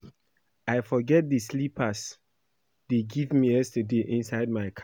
I forget the slippers dey give me yesterday inside my car